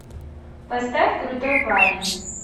поставь крутой парень